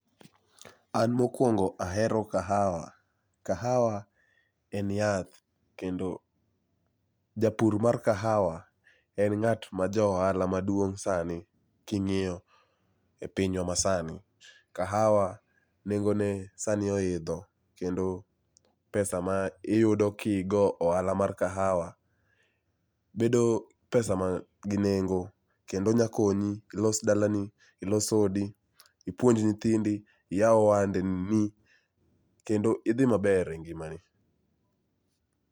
An mokwongo ahero kahawa. Kahawa en yath kendo japur mar kahawa en ng'at ma johala maduong' sani king'iyo e pinywa masani, kahawa nengone sani oidho kendo pesa ma iyudo kigo ohala mar kahawa bedo pesa man gi nengo kendo nyakonyi ilos dalani, ilos odi, ipuonj nyithindi, iyaw ohandeni kendo idhi maber e ngimani.